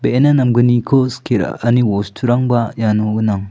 be·ena namgniko skie ra·ani bosturangba iano gnang.